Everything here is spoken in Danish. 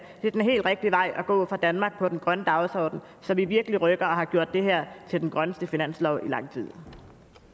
gå for danmark i den grønne dagsorden så vi virkelig rykker og har gjort det her til den grønneste finanslov i lang